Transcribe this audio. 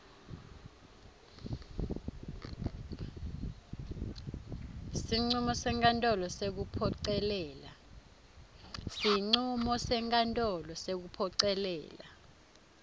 sincumo senkantolo sekuphocelela